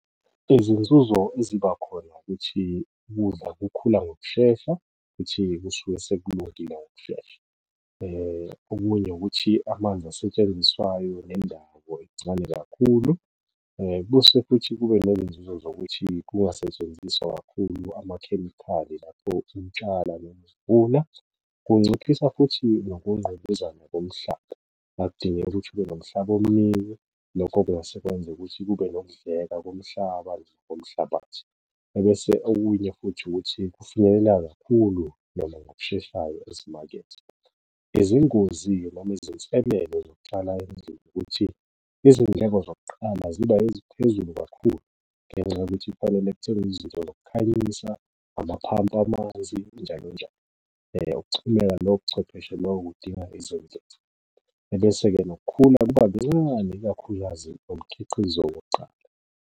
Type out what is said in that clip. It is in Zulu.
Izinzuzo eziba khona ukuthi ukudla kukhula ngokushesha futhi kusuke sekulungile ngokushesha, okunye ukuthi amanzi asetshenziswayo nendawo incane kakhulu. Bese futhi kube nenzuzo zokuthi kungasetshenziswa kakhulu amakhemikhali lapho utshalwa noma uvunwa, kunciphisa futhi nokungqubuzana komhlaba, akudingeki ukuthi ube nomhlaba omningi. Lokho kungase kwenze ukuthi kube nokudleka komhlaba komhlabathi, ebese okunye futhi ukuthi kufinyelela kakhulu noma ngokusheshayo ezimakethe. Izingozi-ke noma izinselele zokutshala ezokuthi izindleko zokuqala ziba eziphezulu kakhulu, ngenxa yokuthi kufanele kuthengwe izinto zokukhanyisa amaphampu amanzi njalo njalo. Ukuxhumeka nochwepheshe kudinga ebese-ke nokukhula kuba kuncane, ikakhulukazi ngomkhiqizo wokuqala.